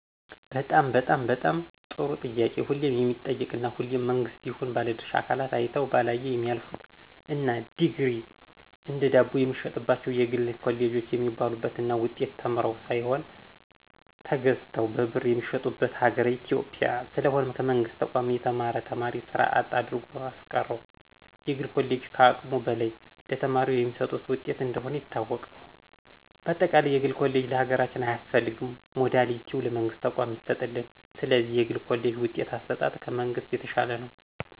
በጣም በጣም በጣም ጥሩ ጥያቄ ሁሌም የሚጠየቅ እና ሁሌም መንግስትም ይሁን ባለድርሻ አካላት አይተው ባላየ የሚያልፍት እና ዲግሪ እንደ ዳቦየሚሸጥባቸው የግል ኮሌጆች የሞሉባት እና ውጤት ተምረው ሳይሆን ተገዝተው በብር የሚመጡበት ሀገር ኢትዮጵያ። ስለሆነም ከመንግስት ተቋም የተማረ ተማሪ ስራ አጥ አድርጎያስቀረው የግል ኮሌጆች ከአቅሙ በላይ ለተማሪው በሚሰጡት ውጤት እንደሆነ ይታወቅ። በአጠቃለይ የግል ኮሌጅ ለሀገራችን አያስፈልግም ሞዳሊቲው ለመንግስት ተቋማት ይሰጥልን። ስለዚህ የግል ኮሌጅ ውጤት አሰጣጥ ከመንግሥት የተሻለ ነው።